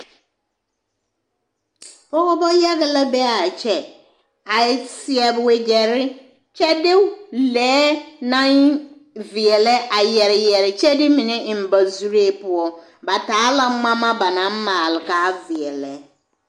Pɔgebɔ yage la be a kyɛ a seɛ wegyɛre kyɛ de lɛɛ naŋ veɛlɛ a yɛre yɛre kyɛ de mine eŋ ba zuree poɔ, ba taa la ŋmama ba naŋ maale k'a veɛlɛ.